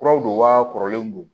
Kuraw don wa kɔrɔlenw don